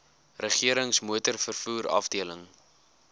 regerings motorvervoer afdeling